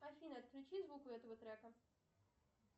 афина отключи звук у этого трека